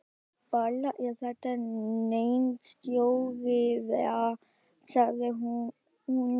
Varla er þetta nein stóriðja? sagði hún.